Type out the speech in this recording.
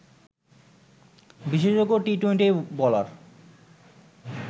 বিশেষজ্ঞ T twenty bowler